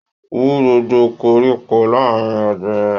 Wú gbogbo koríko láàrin ọ̀gbìn rẹ!